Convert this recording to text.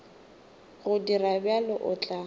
go dira bjalo o tla